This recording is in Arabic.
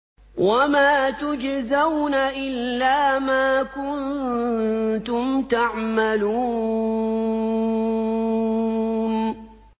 وَمَا تُجْزَوْنَ إِلَّا مَا كُنتُمْ تَعْمَلُونَ